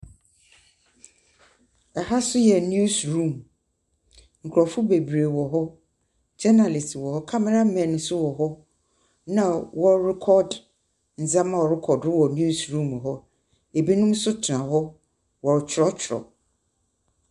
Ɛha nso yɛ news room nkorɔfo beberee wɔ hɔ. Journalists wɔ hɔ, camera men nso wɔ hɔ, na wɔrorecord ndzɛmba a ɔrokɔ do wɔ news room hɔ. Binom nso tena hɔ. Wɔrekyerɛwkyerɛw.